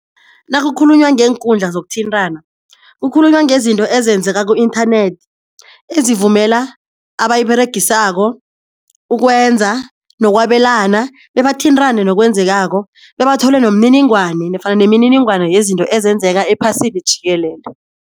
Nakukhulunywa ngeenkundla zokuthintana kukhulunywa ngezinto ezenzeka ku-inthanethi ezivumela abayiberegisako ukwenza nokwabelana bebathintane nokwenzekako bebathole nomniningwane nofana nemininingwana yezinto ezenzeka ephasini jikelele.